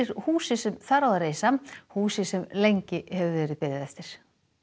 húsi sem þar á að reisa húsi sem lengi hefur verið beðið eftir